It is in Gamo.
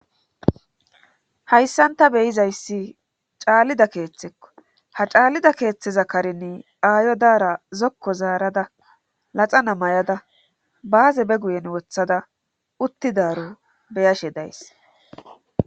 hayssanta beyizayssi caallida keeththekko ha caallida keeththeza karine aayo daara zokko zaarada laxa namay7ada baaze be guyen wothada uttidaro beyashe days